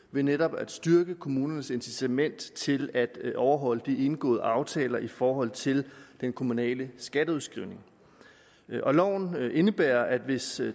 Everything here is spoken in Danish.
ved netop at styrke kommunernes incitament til at overholde de indgåede aftaler i forhold til den kommunale skatteudskrivning loven indebærer at hvis